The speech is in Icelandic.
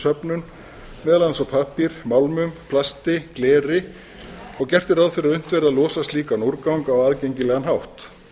söfnun meðal annars á pappír málmum plasti gleri og gert er ráð fyrir að unnt verði að losa slíkan úrgang á aðgengilegan hátt